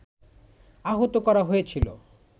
আহত করা হয়েছিল